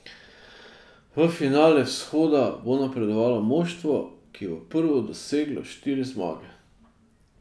V finale Vzhoda bo napredovalo moštvo, ki bo prvo doseglo štiri zmage.